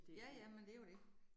Ja ja, men det jo det